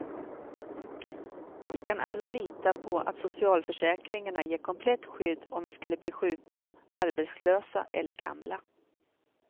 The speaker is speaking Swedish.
Vi kan alla lita på att socialförsäkringarna ger komplett skydd om vi skulle bli sjuka, arbetslösa eller gamla.